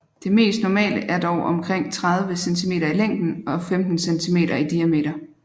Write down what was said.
Det mest normale er dog omkring 30 cm i længden og 15 cm i diameter